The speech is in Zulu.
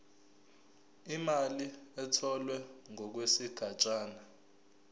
imali etholwe ngokwesigatshana